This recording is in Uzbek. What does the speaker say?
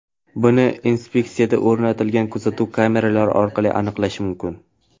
Buni inspeksiyada o‘rnatilgan kuzatuv kameralari orqali ham aniqlash mumkin.